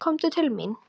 Komdu til mín.